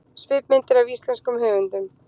Svipmyndir af íslenskum höfundum